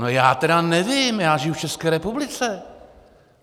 No já tedy nevím, já žiju v České republice.